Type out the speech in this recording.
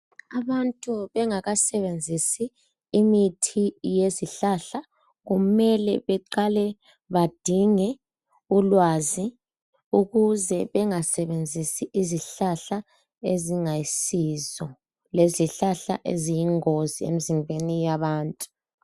Abantu bengakasebenzisi imithi yezihlahla kumele beqale bedinge ulwazi ukuze bengasebenzisi izihlahla ezingayisiso lezihlahla eziyingozi emzimbeni yabantu